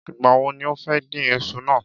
Ìgbà wo ni o fẹ́ dín isu náà?